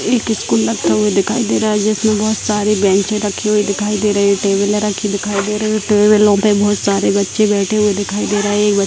एक स्कूल लगता हुआ दिखाई दे रहा है जिसमे बहुत सारी बेन्चे रखी हुई दिखाई दे रही है टेबल रखी दिखाई दे रही है और टैबलो पे बहुत सारे बच्चे बैठे हुए दिखाई दे रहे है एक बच्चा --